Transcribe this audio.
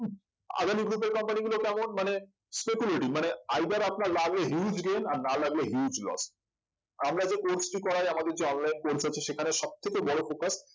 Adani group এর company গুলো কেমন মানে speculity মানে either আপনার লাগলে huge gain আর না লাগলে huge loss আমরা যে course টি করাই আমাদের যে online course আছে সেখানে সব থেকে বড়ো focus